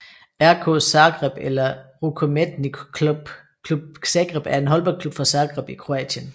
RK Zagreb eller Rukometni Klub Zagreb er en håndboldklub fra Zagreb i Kroatien